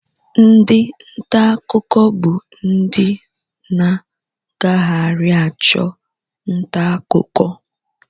Ndi nta akụkọ bụ ndị na-agagharị achụ nta akụkọ